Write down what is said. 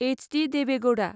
HD. Deve Gouda